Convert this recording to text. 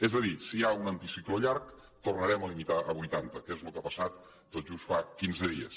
és a dir si hi ha un anticicló llarg tornarem a limitar a vuitanta que és el que ha passat tot just fa quinze dies